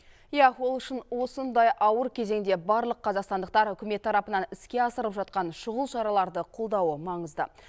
иә ол үшін осындай ауыр кезеңде барлық қазақстандықтар үкімет тарапынан іске асырылып жатқан шұғыл шараларды қолдауы маңызды